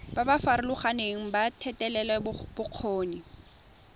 ba ba farologaneng ba thetelelobokgoni